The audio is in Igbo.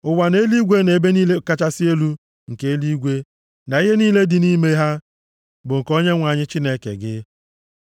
Ụwa na eluigwe na ebe niile kachasị elu nke eluigwe, na ihe niile dị nʼime ha, bụ nke Onyenwe anyị Chineke gị.